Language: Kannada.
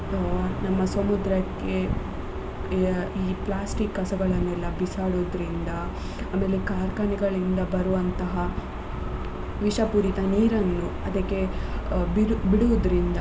ಆ ನಮ್ಮ ಸಮುದ್ರಕ್ಕೆ ಈ plastic ಕಸಗಳನ್ನೆಲ್ಲ ಬಿಸಾಡ್ರುದಿಂದ ಆಮೇಲೆ ಕಾರ್ಖಾನೆಗಳಿಂದ ಬರುವಂತಹ ವಿಷ ಪೂರಿತ ನೀರನ್ನು ಅದಕೆ ಬಿಡು~ ಬಿಡುದ್ರಿಂದ.